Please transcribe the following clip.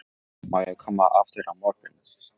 Má ég koma aftur á morgun?